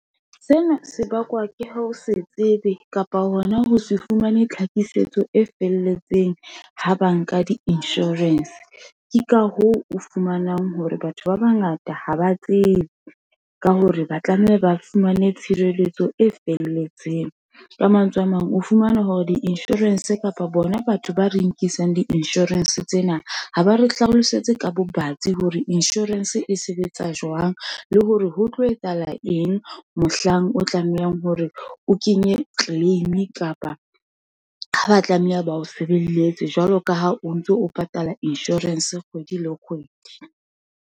Sena se bakwa ke ha se tsebe, kapa hona ho se fumane tlhakisetso e felletseng, ha ba nka di-insurance, ke ka hoo, o fumanang hore batho ba bangata ha ba tsebe, ka hore ba tlameha ba fumane tshireletso e felletseng. Ka mantswe a mang, o fumana hore di-insurance, kapa bona batho ba re nkisang di-insurance tsena, ha ba re hlalosetse ka bobatsi hore insurance e sebetsa jwang, le hore ho tlo etsahala eng, mohlang o tlamehang hore o kenye claim-i, kapa ha ba tlameha ba o sebeletse. Jwalo ka ha o ntso o patala insurance Kgwedi le kgwedi.